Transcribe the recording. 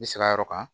I bɛ sira yɔrɔ kan